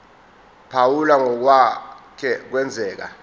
phawula ngokwake kwenzeka